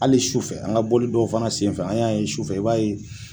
Hali sufɛ an ga boli dɔw fana senfɛ an y'a ye sufɛ, i b'a ye